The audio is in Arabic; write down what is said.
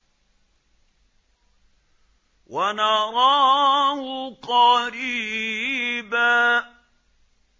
وَنَرَاهُ قَرِيبًا